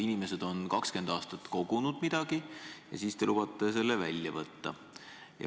Inimesed on 20 aastat kogunud ja siis te lubate selle välja võtta.